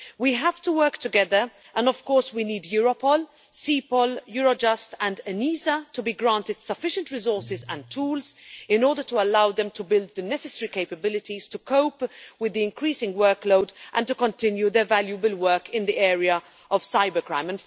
We have to work together and, of course, we need Europol, CEPOL, Eurojust and ENISA to be granted sufficient resources and tools in order to allow them to build the necessary capabilities to cope with the increasing workload and to continue their valuable work in the area of cybercrime.